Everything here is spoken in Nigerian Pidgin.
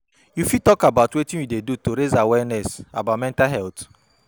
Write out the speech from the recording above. you fit talk about wetin you dey do to raise awareness about mental health?